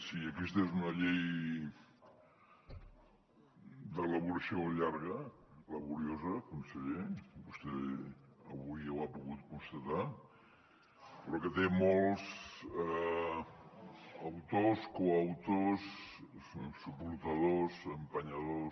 sí aquesta és una llei d’elaboració llarga laboriosa conseller vostè avui ho ha pogut constatar però que té molts autors coautors suportadors empenyedors